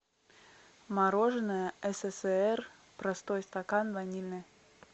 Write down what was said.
мороженое ссср простой стакан ванильное